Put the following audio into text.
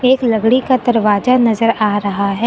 एक लकड़ी का दरवाजा नजर आ रहा है।